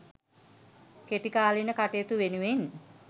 කෙටිකාලීන කටයුතු වෙනුවෙන්